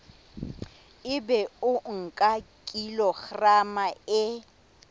ebe o nka kilograma e